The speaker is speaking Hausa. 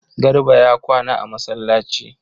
Garba ya kwana a masallaci